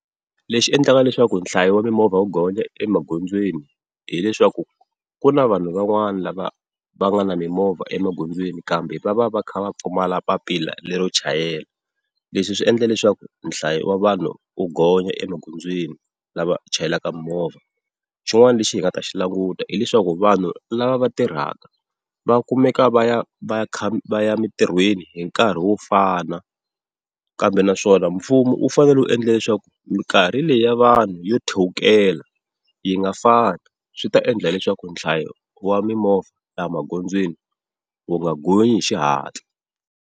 Lexi endlaka leswaku nhlayo wa mimovha wu gonya emagondzweni, hileswaku ku na vanhu van'wana lava va nga na mimovha emagondzweni, kambe va va va kha va pfumala papila lero chayela. Leswi swi endla leswaku nhlayo wa vanhu u gonya emagondzweni lava chayelaka mimovha. Xin'wana lexi hi nga ta xi languta hileswaku vanhu lava va tirhaka va kumeka va ya va va ya kha va ya emintirhweni hi nkarhi wo fana. Kambe naswona mfumo u fanele u endla leswaku mikarhi leyi ya vanhu yo thewukela yi nga fani, swi ta endla leswaku nhlayo wa mimovha laha magondzweni wu nga gonyi hi xihatla.